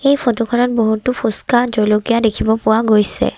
এই ফটো খনত বহুতো ফুস্কা জলকীয়া দেখিব পোৱা গৈছে।